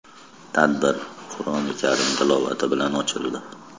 Tadbir Qur’oni karim tilovati bilan ochildi.